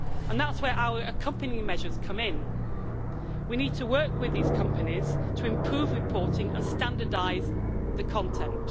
That's where our accompanying measures come in. We need to work with these companies to improve reporting and standardise the content.